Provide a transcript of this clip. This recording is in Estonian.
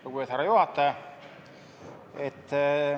Lugupeetud härra juhataja!